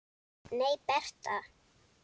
Nei, Bertha.